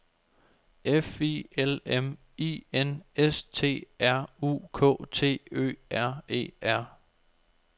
F I L M I N S T R U K T Ø R E R